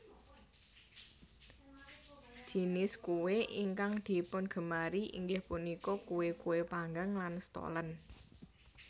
Jinis kue ingkang dipungemari inggih punika kue kue panggang lan stollen